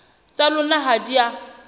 tsa lona ha di a